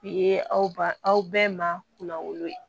U ye aw ba aw bɛɛ ma kunna wolo ye